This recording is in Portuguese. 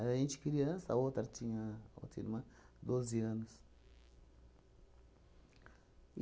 Mas a gente criança, a outra tinha a outra irmã doze anos.